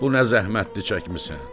bu nə zəhmətdir çəkmisən?